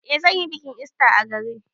Eh zan yi bikin ista a gari.